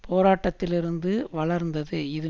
போராட்டத்திலிருந்து வளர்ந்தது இது